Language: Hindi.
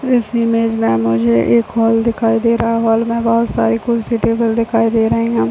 इस इमेज में मुझे एक हॉल दिखाई दे रहा हॉल में बहोत सारी कुर्सी टेबल दिखाई दे रही है।